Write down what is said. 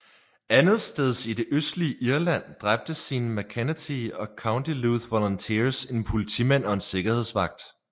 Andetsteds i det østlige Irland dræbte Séan MacEntee og County Louth Volunteers en politimand og en sikkerhedsvagt